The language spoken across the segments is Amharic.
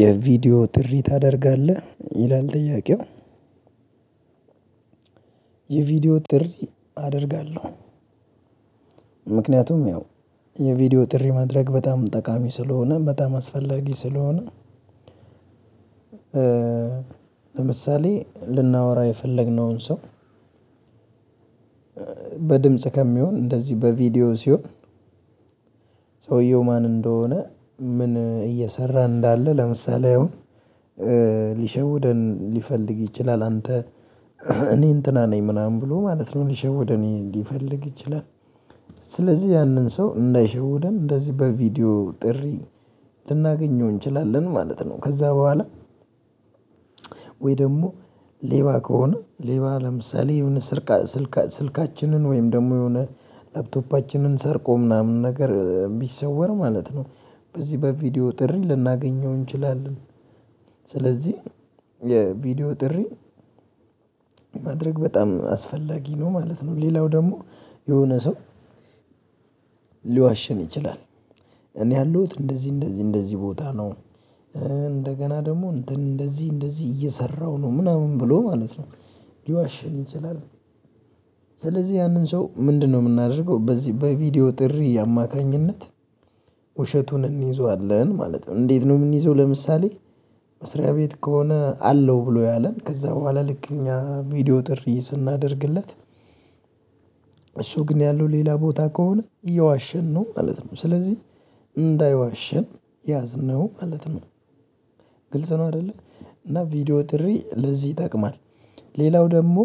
የቪዲዮ ጥሪ ታደርጋለህ ይላል ጥያቄው? የቪዲዮ ጥሪ አደርጋለሁ። ምክንያቱም ያው የቪዲዮ ጥሪ ማድረግ በጣም ጠቃሚ ስለሆነ በጣም አስፈላጊ ስለሆነ። ለምሳሌ ልናወራ የፈለግነውን ሰው። በድምጽፅ ከሚሆን እንደዚህ በቪዲዮ ሲሆን። ሰውየው ማን እንደሆነ ምን እየሰራ እንዳለ ለምሳሌ አሁን ሊሸውደን ሊፈልግ ይችላል አንተ እኔ እንትና ነኝ ምናምን ብሎ ማለት ነው ሊሸውደን ሊፈልግ ይችላል። ስለዚህ ያንን ሰው እንዳይሸውደን እንደዚህ በቪዲዮ ጥሪ ልናገኘው እንችላለን ማለት ነው። ከዛ በኋላ ወይ ደግሞ ሌባ ከሆነ ሌባ ለምሳሌ የሆነ ስልካችንን ወይም ደግሞ የሆነ ላፕቶፓችንን ሰርቆ ምናምን ነገር ቢሰወር ማለት ነው። በዚህ በቪዲዮ ጥሪ ልናገኘው እንችላለን። ስለዚህ የቪዲዮ ጥሪ ማድረግ በጣም አስፈላጊ ነው ማለት ነው። ሌላው ደግሞ የሆነ ሰው ሊዋሽን ይችላል። እኔ ያለሁት እንደዚህ እንደዚህ እንደዚህ ቦታ ነው። እንደገና ደግሞ እንትን እንደዚህ እንደዚህ እየሰራሁ ነው ምናምን ብሎ ማለት ነው ሊዋሸን ይችላል። ስለዚህ ያንን ሰው ምንድነው የምናደርገው በዚህ በቪዲዮ ጥሪ አማካኝነት። ውሸቱን እንይዘዋለን ማለት ነው። እንዴት ነው የምንይዘው? ለምሳሌ መስሪያ ቤት ከሆነ አለው ብሎ ያለን ከዛ በኋላ ልክ እኛ ቪዲዮ ጥሪ ስናደርግለት። እሱ ግን ያለው ሌላ ቦታ ከሆነ እየዋሸን ነው ማለት ነው። ስለዚህ እንዳይዋሸን ያዝነው ማለት ነው። ግልጽ ነው አይደለ? እና ቪዲዮ ጥሪ ለዚህ ይጠቅማል። ሌላው ደግሞ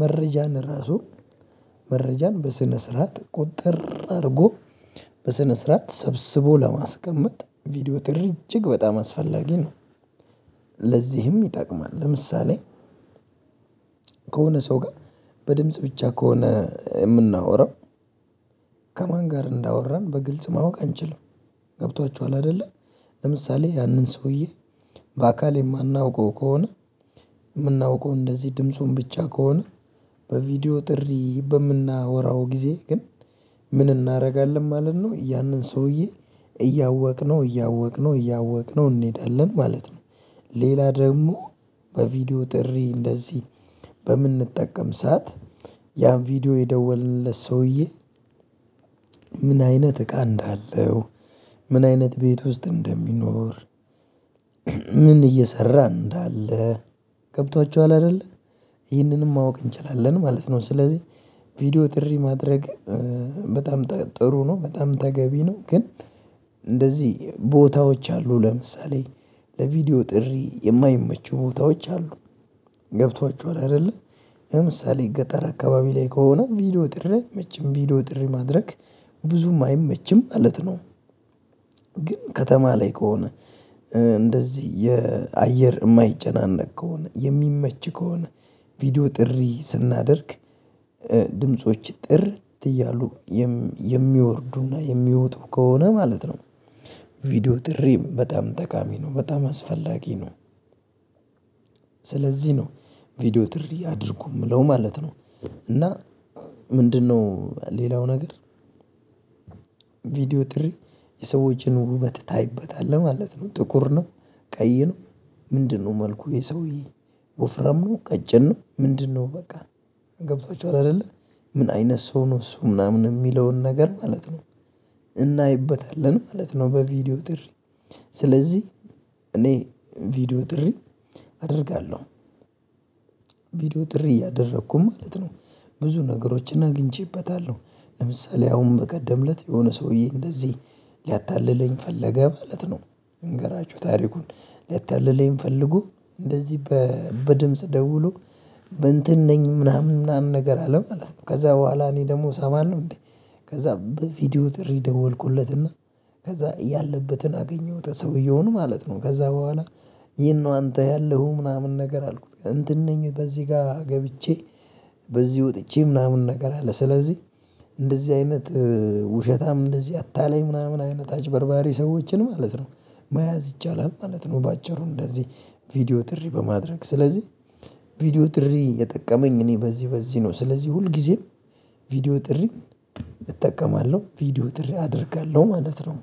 መረጃ ራሱ መረጃን በስነስርዓት ቁጥር አድርጎ በስነስርዓት ሰብስቦ ለማስቀመጥ ቪዲዮ ጥሪ እጅግ በጣም አስፈላጊ ነው። ለዚህም ይጠቅማል ለምሳሌ ከሆነ ሰው ጋር በድምጽ ብቻ ከሆነ የምናወራው ከማን ጋር እንዳወራን በግልጽ ማወቅ አንችልም። ገብቷችኋል አይደለ? ለምሳሌ ያንን ሰውዬ በአካል የማናውቀው ከሆነ። የምናውቀው እንደዚህ ድምፁን ብቻ ከሆነ። በቪዲዮ ጥሪ በምናወራው ጊዜ ግን። ምን እናደርጋለን ማለት ነው። ያንን ሰውዬ እያወቅነው እያወቅነው እያወቅነው እንሄዳለን ማለት ነው። ሌላ ደግሞ በቪዲዮ ጥሪ እንደዚህ በምንጠቀም ሰዓት ያን ቪዲዮ የደወልንለት ሰውዬ። ምን አይነት እቃ እንዳለው ምን አይነት ቤት ውስጥ እንደሚኖር። ምን እየሰራ እንዳለ። ገብቷችኋል አይደለ? ይህንንም ማወቅ እንችላለን ማለት ነው። ስለዚህ ቪዲዮ ጥሪ ማድረግ በጣም ጥሩ ነው በጣም ተገቢ ነው። ግን እንደዚህ ቦታዎች አሉ ለምሳሌ ለቪዲዮ ጥሪ የማይመቹ ቦታዎች አሉ። ገብቷችኋል አይደለ? ለምሳሌ ገጠር አካባቢ ላይ ከሆነ ቪዲዮ ጥሪ አይመችም ቪዲዮ ጥሪ ማድረግ ብዙም አይመችም ማለት ነው። ግን ከተማ ላይ ከሆነ። እንደዚህ የ አየር የማይጨናነቅ ከሆነ የሚመች ከሆነ ቪዲዮ ጥሪ ስናደርግ። ድምጾች ጥርት እያሉ የሚወርዱና የሚወጡ ከሆነ ማለት ነው። ቪዲዮ ጥሪም በጣም ጠቃሚ ነው በጣም አስፈላጊ ነው። ስለዚህ ነው ቪዲዮ ጥሪ አድርጉ የምለው ማለት ነው። እና ምንድነው ሌላው ነገር? ቪድዮ ጥሪ የሰዎችን ውበት ታይበታለህ ማለት ነው። ጥቁር ነው። ቀይ ነው። ምንድነው? መልኩ የሰውዬ ወፍራም ቀጭን ነው። ምንድነው? በቃ ገብቷቹሃል አይደለ? ምን አይነት ሰው ነው እሱ ምናምን የሚለውን ነገር ማለት ነው። እናይበታለን ማለት ነው። በቪዲዮ ጥሪ ስለዚህ እኔ ቪዲዮ ጥሪ አደርጋለሁ። ቪዲዮ ጥሪ እያደረኩኝ ማለት ነው። ብዙ ነገሮችን አግኝቼበታለሁ። ለምሳሌ አሁን በቀደምለት የሆነ ሰውዬ እንደዚህ ሊያታልለኝ ፈለገ ማለት ነው። ልንገራችሁ ታሪኩን። ሊያታልለኝ ፈልጎ እንደዚህ በድምጽ ደውሎ በእንትን ነኝ ምናምን ምናምን ነገር አለ ማለት ነው። ከዛ በኋላ እኔ ደግሞ ሰማለሁ ነው እንዴ? ከዛ በቪዲዮ ጥሪ ደወልኩለትና ከዛ እያለበትን አገኘሁት ሰውየውን ማለት ነው። ከዛ በኋላ የት ነው አንተ ያለሀው ምናምን ነገር አልኩት። እንትን ነኝ በዚህ ጋር ገብቼ በዚህ ወጥቼ ምናምን ነገር አለ። ስለዚህ እንደዚህ አይነት ውሸታም እንደዚህ አታላይ ምናምን አይነት አጭበርባሪ ሰዎችን ማለት ነው። መያዝ ይቻላል ማለት ነው። በአጭሩ እንደዚህ ቪዲዮ ጥሪ በማድረግ ስለዚህ። ቪዲዮ ጥሪ የጠቀመኝ እኔ በዚህ በዚህ ነው። ስለዚህ ሁል ጊዜም ቪዲዮ ጥሪ እጠቀማለሁ ቪዲዮ ጥሪ አደርጋለሁ ማለት ነው።